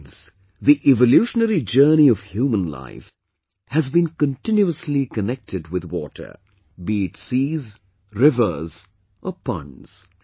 Friends, the evolutionary journey of human life has been continuously connected with water be it seas, rivers or ponds